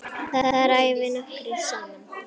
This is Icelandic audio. Þar æfum við nokkrir saman.